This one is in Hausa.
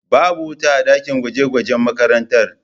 Babu wuta a dakin gwaje gwajen makarantar